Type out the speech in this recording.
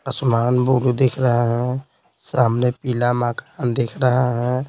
आसमान ब्लू दिख रहा है सामने पीला मकान दिख रहा है।